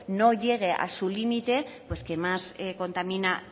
no llegue a su límite pues quien más contamina